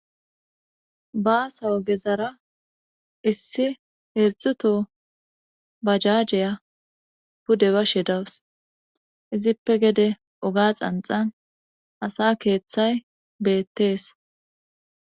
Bassa ogezara issi heerdzdzu too bajaajeya pude bashe dawus izippe gede oga xanxan asa keeththay beettees